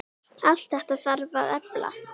Allt þetta þarf að efla.